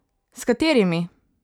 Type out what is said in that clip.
S katerimi?